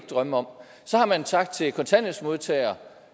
drømme om så har man sagt til kontanthjælpsmodtagere